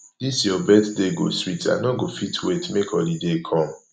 dis your birthday go sweet i no go fit wait make holiday come